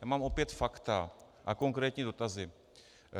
Já mám opět fakta a konkrétní dotazy.